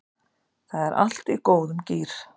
Það er allt í góðum gír